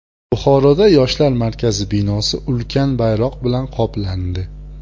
Buxoroda Yoshlar markazi binosi ulkan bayroq bilan qoplandi .